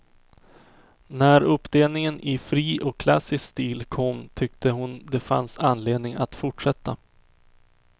När uppdelningen i fri och klassisk stil kom tyckte hon det fanns anledning att fortsätta.